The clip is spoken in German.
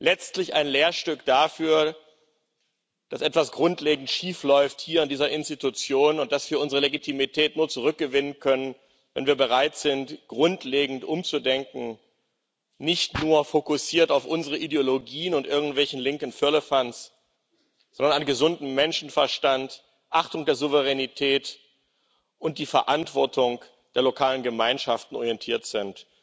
Letztlich ein Lehrstück dafür, dass hier in dieser Institution etwas grundlegend schiefläuft und dass wir unsere Legitimität nur zurückgewinnen können, wenn wir bereit sind, grundlegend umzudenken, nicht nur fokussiert sind auf unsere Ideologien und irgendwelchen linken Firlefanz, sondern an einem gesunden Menschenverstand, der Achtung der Souveränität und der Verantwortung der lokalen Gemeinschaften orientiert sind.